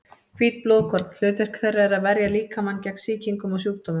Hvít blóðkorn: hlutverk þeirra er að verja líkamann gegn sýkingum og sjúkdómum.